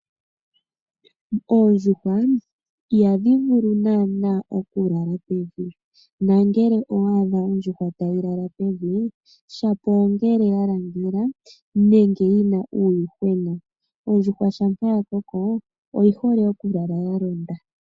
Oondjuhwa ihadhi vulu naana okulala pevi nongele owa adha ondjuhwa tayi lala pevi uuna ya langela nenge yi na uuyuhwena, ondjuhwa uuna ya koko oyi hole okulala ya londa.